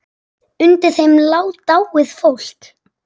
Undir þeim lá dáið fólk.